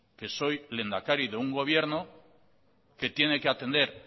que soy lehendakari de un gobierno que tiene atender